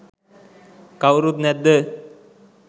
කවුරුත් නැද්ද?